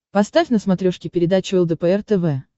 поставь на смотрешке передачу лдпр тв